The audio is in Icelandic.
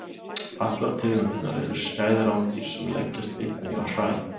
Allar tegundirnar eru skæð rándýr sem leggjast einnig á hræ.